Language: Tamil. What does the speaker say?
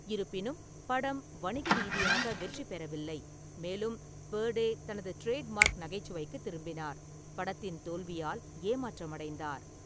இருப்பினும், படம் வணிக ரீதியாக வெற்றி பெறவில்லை, மேலும் பெர்டே தனது டிரேட்மார்க் நகைச்சுவைக்கு திரும்பினார், படத்தின் தோல்வியால் ஏமாற்றமடைந்தார்.